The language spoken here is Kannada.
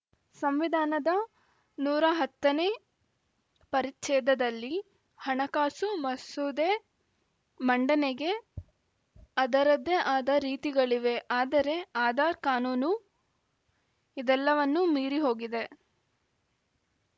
ಸಂವಿಧಾನದ ನೂರ ಹತ್ತ ನೇ ಪರಿಚ್ಛೇದದಲ್ಲಿ ಹಣಕಾಸು ಮಸೂದೆ ಮಂಡನೆಗೆ ಅದರದ್ದೇ ಆದ ರೀತಿಗಳಿವೆ ಆದರೆ ಆಧಾರ್‌ ಕಾನೂನು ಇದೆಲ್ಲವನ್ನೂ ಮೀರಿ ಹೋಗಿದೆ